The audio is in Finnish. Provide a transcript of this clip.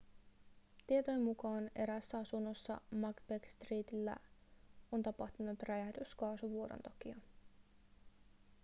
tietojen mukaan eräässä asunnossa macbeth streetillä on tapahtunut räjähdys kaasuvuodon takia